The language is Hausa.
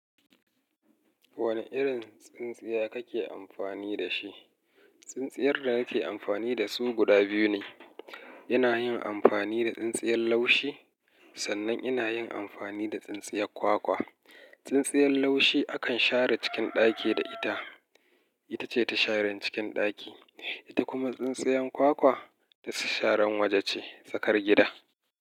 Wane irin tsintsiya kake amfani da shi? Tsintsiyar da nake amfani da su guda biyu ne. Ina yin amfani da tsintsiyar laushi sannan ina yin amfani da tsintsiyar kwakwa. Tsintsiyar laushi akan share cikin ɗaki da ita. Ita ce ta sharan cikin ɗaki. Ita kuma tsintsiyar kwakwa ta sharan waje ce, tsakar gida.